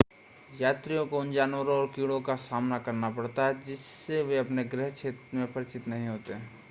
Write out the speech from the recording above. यात्रियों को उन जानवरों और कीड़ों का सामना करना पड़ता है जिससे वे अपने गृह क्षेत्र में परिचित नहीं होते हैं